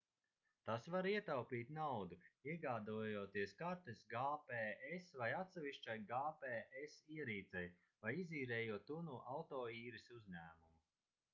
tas var ietaupīt naudu iegādājoties kartes gps vai atsevišķai gps ierīcei vai izīrējot to no autoīres uzņēmuma